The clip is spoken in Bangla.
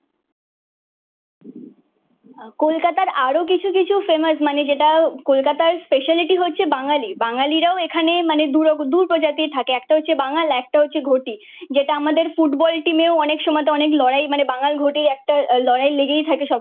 কলকাতার আরো কিছু কিছু ফেমাস মানে যেটা কলকাতার স্পেশালিটি হচ্ছে বাঙালি। বাঙালিরাও এখানে মানে দুরকম দু প্রজাতি থাকে একটা হচ্ছে বাঙাল একটা হচ্ছে ঘটি। যেটা আমাদের ফুটবল টিমেও অনেক সময় তো অনেক লড়াই মানে বাঙাল ঘটির একটা লড়াই লেগেই থাকে সবসময়।